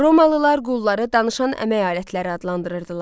Romalılar qulları danışan əmək alətləri adlandırırdılar.